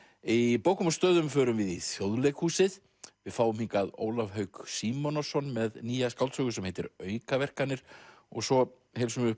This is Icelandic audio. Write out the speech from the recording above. í bókum og stöðum förum við í Þjóðleikhúsið við fáum hingað Ólaf Hauk Símonarson með nýja skáldsögu sem heitir aukaverkanir og svo heilsum við